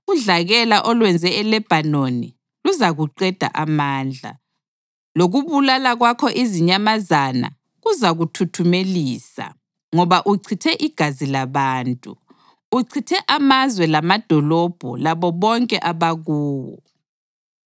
Udlakela olwenze eLebhanoni luzakuqeda amandla, lokubulala kwakho izinyamazana kuzakuthuthumelisa. Ngoba uchithe igazi labantu; uchithe amazwe lamadolobho labo bonke abakuwo.